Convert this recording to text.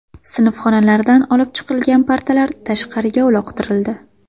Sinfxonalardan olib chiqilgan partalar tashqariga uloqtirildi .